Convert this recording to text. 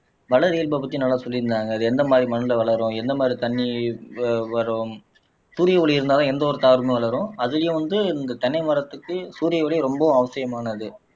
வளரியல்பு பத்தி நல்லா சொல்லிருந்தாங்க அது எந்த மாதிரி மண்ணுல வளரும் எந்த மாதிரி தண்ணி வவரும் சூரிய ஒளி இருந்தாதான் எந்த ஒரு தாவரமும் வளரும் அதுலயும் வந்து இந்த தென்னை மரத்துக்கு சூரிய ஒளி ரொம்பவும் அவசியமானது